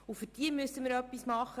Für diese müssten wir etwas tun.